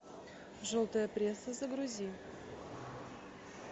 желтая пресса загрузи